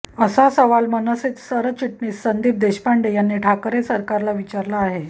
असा सवाल मनसे सरचिटणीस संदीप देशपांडे यांनी ठाकरे सरकारला विचारला आहे